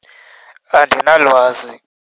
Andinalwazi.